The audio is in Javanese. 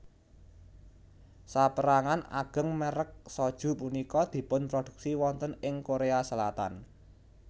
Sapérangan ageng mèrek soju punika dipunproduksi wonten ing Korea Selatan